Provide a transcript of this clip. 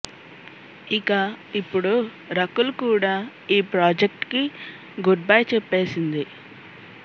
ఇక ఇప్పుడు రకుల్ కూడా ఈ ప్రాజెక్ట్ కి గుడ్ బై చెప్పేసింది